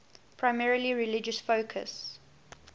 primarily religious focus